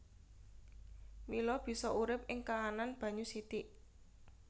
Mila bisa urip ing kaanan banyu sithik